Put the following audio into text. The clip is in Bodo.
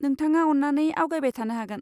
नोंथाङा अन्नानै आवगायबाय थानो हागोन।